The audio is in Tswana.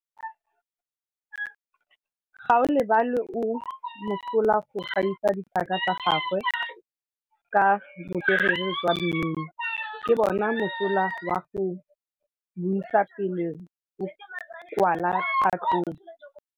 Gaolebalwe o mosola go gaisa dithaka tsa gagwe ka botswerere jwa mmino. Ke bone mosola wa go buisa pele o kwala tlhatlhobô.